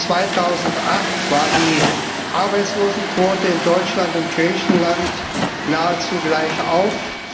Im Jahre 2008 war die Arbeitslosenquote in Deutschland und Griechenland nahezu gleichauf.